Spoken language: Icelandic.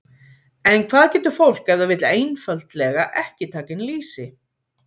En hvað getur fólk ef það vill einfaldlega ekki taka inn lýsi?